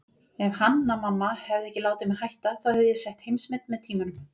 Ef Hanna-Mamma hefði ekki látið mig hætta þá hefði ég sett heimsmet með tímanum.